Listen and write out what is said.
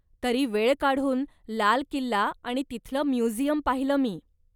तरी वेळ काढून लाल किल्ला आणि तिथलं म्युझियम पाहिलं मी.